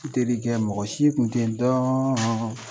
N terikɛ mɔgɔ si kun tɛ dɔn